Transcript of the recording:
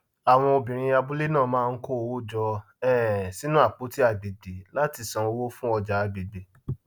àwọn obìnrin abúlé náà máa ń kó owó jọ um sínú apoti agbègbè láti sàn owó fún ọjà agbègbè